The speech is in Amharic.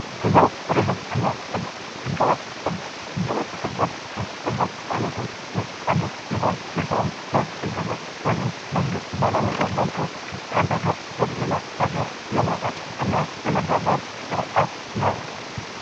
ቱሪዝም እና ስደት፦ ህገወጥ ስደት፦ ህገወጥ ስደት ከስደት አይነቶች ዉስጥ አንዱ ሲሆን ይሀዉም በህገወጥ ወይም መንግስት ባላወቀው መልኩ ከአንድ ሃገር ወደ ሌላ ሀገር መሰደድ ነው።